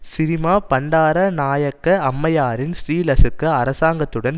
சிறிமா பண்டாரநாயக்க அம்மையாரின் ஸ்ரீலசுக அரசாங்கத்துடன்